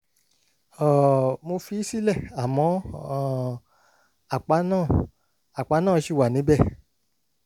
um mo fi í sílẹ̀ àmọ́ um àpá náà àpá náà ṣì wà níbẹ̀